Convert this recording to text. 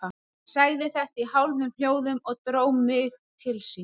Hann sagði þetta í hálfum hljóðum og dró mig til sín.